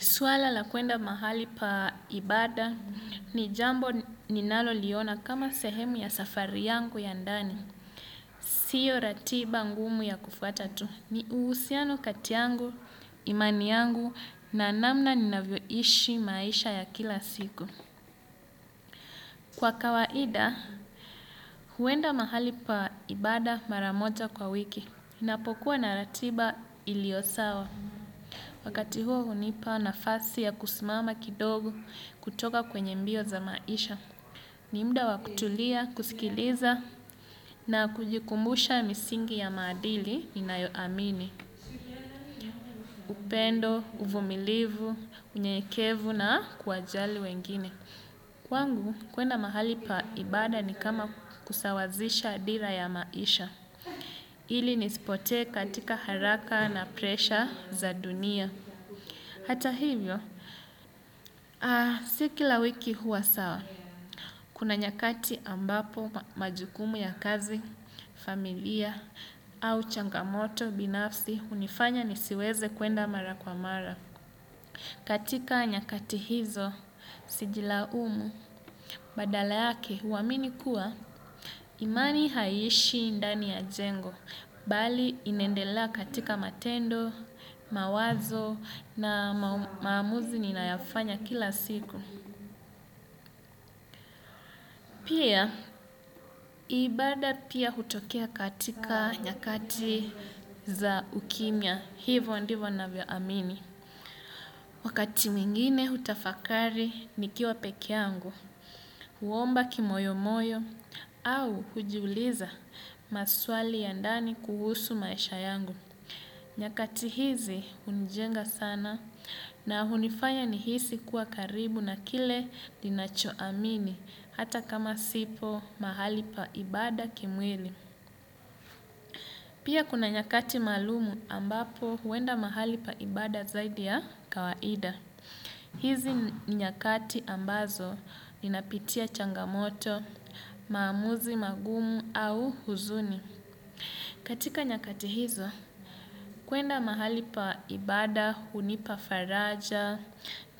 Swala la kuenda mahali pa ibada ni jambo ninaloliona kama sehemu ya safari yangu ya ndani. Sio ratiba ngumu ya kufwata tu. Ni uhusiano kati yangu, imani yangu na namna ninavyoishi maisha ya kila siku. Kwa kawaida, huenda mahali pa ibada mara moja kwa wiki. Ninapokuwa na ratiba ilio sawa. Wakati huo hunipa nafasi ya kusimama kidogo kutoka kwenye mbio za maisha. Ni muda wakutulia, kusikiliza na kujikumbusha misingi ya maadili ninayo amini. Upendo, uvumilivu, unyenyekevu na kuwajali wengine. Kwangu, kwenda mahali pa ibada ni kama kusawazisha dira ya maisha. Ili nisipotee katika haraka na presha za dunia. Hata hivyo, si kila wiki huwa sawa, kuna nyakati ambapo majukumu ya kazi, familia, au changamoto, binafsi, hunifanya nisiweze kuenda mara kwa mara. Katika nyakati hizo, sijilaumu, badala yake, huamini kuwa imani haiishi ndani ya jengo, bali inaendelea katika matendo, mawazo na maamuzi ninayofanya kila siku. Pia, ibada pia hutokea katika nyakati za ukimya, hivo ndivyo navyo amini. Wakati mwingine hutafakari nikiwa peke yangu, huomba kimoyo moyo au hujuliza maswali ya ndani kuhusu maisha yangu. Nyakati hizi hunijenga sana na hunifanya nihisi kuwa karibu na kile ninacho amini hata kama sipo mahali pa ibada kimwili. Pia kuna nyakati maalum ambapo huenda mahali pa ibada zaidi ya kawaida. Hizi ni nyakati ambazo ninapitia changamoto, maamuzi magumu au huzuni. Katika nyakati hizo, kwenda mahali pa ibada, hunipa faraja,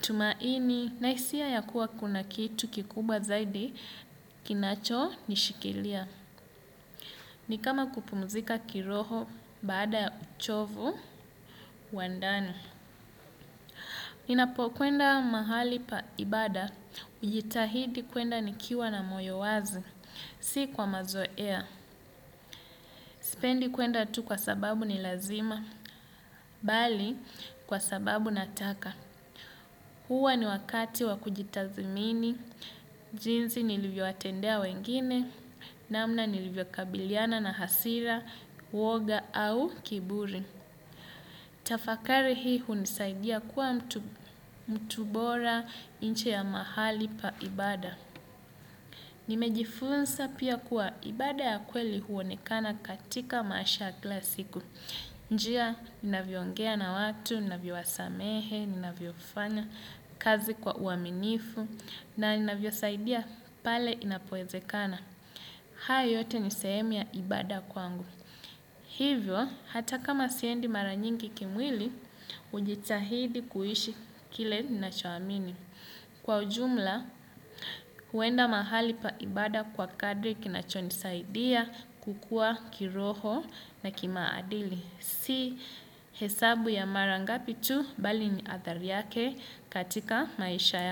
tumaini, na hisia ya kuwa kuna kitu kikubwa zaidi kinacho nishikilia. Ni kama kupumzika kiroho baada ya uchovu wa ndani. Ninapo kwenda mahali pa ibada, hujitahidi kwenda nikiwa na moyo wazi si kwa mazoea. Sipendi kwenda tu kwa sababu ni lazima, bali kwa sababu nataka. Huwa ni wakati wa kujitathimini, jinsi nilivyowatendea wengine, namna nilivyo kabiliana na hasira, uoga au kiburi. Tafakari hii hunisaidia kuwa mtu bora nje ya mahali pa ibada. Nimejifunza pia kuwa ibada ya kweli huonekana katika maisha kila siku. Njia ninavyongea na watu, ninavyowasamehe, ninavyofanya kazi kwa uaminifu na ninavyosaidia pale inapowezekana. Haya yote ni sehemu ya ibada kwangu. Hivyo, hata kama siendi maranyingi kimwili, hujitahidi kuishi kile ninachoamini. Kwa ujumla, kwenda mahali pa ibada kwa kadri kinachonisaidia kukua kiroho na kimaadili si hesabu ya mara ngapi tu bali ni athari yake katika maisha yangu.